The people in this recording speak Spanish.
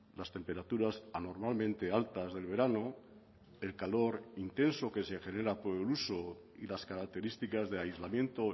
las temperaturas anormalmente altas del verano el calor intenso que se genera por el uso y las características de aislamiento